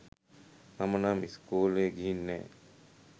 මම නම් ඉස්කෝලෙ ගිහින් නෑ.